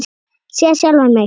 Sé sjálfan mig.